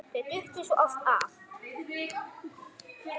Þau duttu svo oft af.